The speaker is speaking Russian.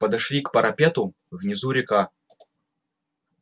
подошли к парапету внизу река